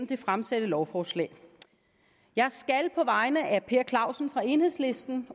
det fremsatte lovforslag jeg skal på vegne af per clausen fra enhedslisten